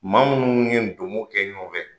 Maa munnu ye domo kɛ ɲɔgɔn fɛ